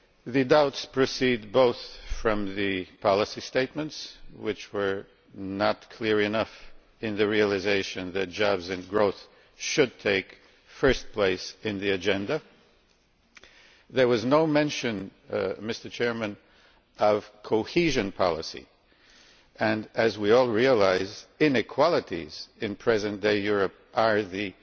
The doubts proceed both from the policy statements, which were not clear enough in the realisation that jobs and growth should take first place on the agenda there was no mention of cohesion policy when, as we all realise, inequalities in present day Europe are the